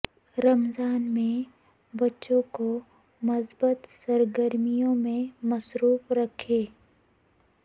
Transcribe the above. رمضان میں بچوں کو مثبت سرگرمیوں میں مصروف رکھیں